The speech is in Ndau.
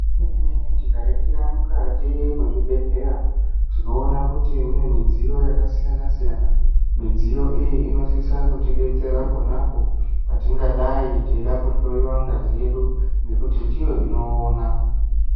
Zvemene-mene, tikaringira mukati mwezvibhedhleya, tinoona kuti mune mudziyo yakasiyana-siyana. Midziyo iyi inosisa kutidetsera pona apo, patingadai teida kuhloiwa ngazi yedu ,nekuti ndiyo inoona.